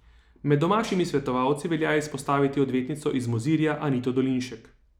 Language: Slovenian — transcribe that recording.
Med domačimi svetovalci velja izpostaviti odvetnico iz Mozirja Anito Dolinšek.